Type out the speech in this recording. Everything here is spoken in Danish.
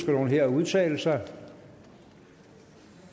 nogen her at udtale sig